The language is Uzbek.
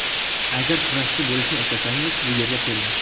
Agar kurashchi bo‘lishni istasangiz bu yerga keling.